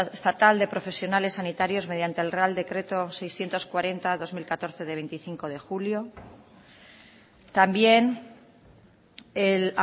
estatal de profesionales sanitarios mediante el real decreto seiscientos cuarenta barra dos mil catorce de veinticinco de julio también el